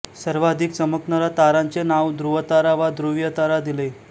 सर्वाधिक चमकणारा तारांचे नाव ध्रुवतारा वा ध्रुवीय तारा दिले